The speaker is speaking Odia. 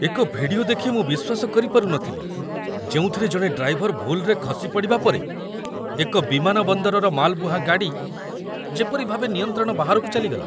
ଏକ ଭିଡିଓ ଦେଖି ମୁଁ ବିଶ୍ୱାସ କରିପାରୁନଥିଲି, ଯେଉଁଥିରେ ଜଣେ ଡ୍ରାଇଭର ଭୁଲ୍‌ରେ ଖସି ପଡ଼ିବା ପରେ ଏକ ବିମାନବନ୍ଦରର ମାଲବୁହା ଗାଡ଼ି ଯେପରି ଭାବେ ନିୟନ୍ତ୍ରଣ ବାହାରକୁ ଚାଲିଗଲା।